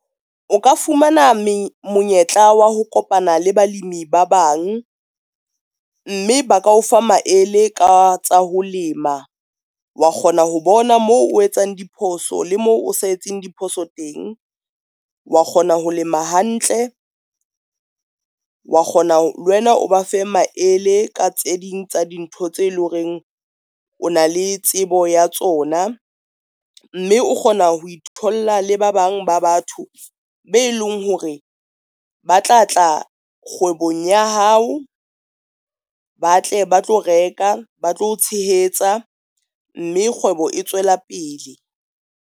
O ka fumana monyetla wa ho kopana le balemi ba bang, mme ba ka o fa maele ka tsa ho lema, wa kgona ho bona moo o etsang diphoso le moo o sa etseng diphoso teng, wa kgona ho lema hantle, wa kgona le wena o ba fe maele ka tse ding tsa dintho tse leng hore o na le tsebo ya tsona. Mme o kgona ho itholla le ba bang ba batho be leng hore ba tla tla kgwebong ya hao, ba tle ba tlo reka ba tlo o tshehetsa, mme kgwebo e tswela pele.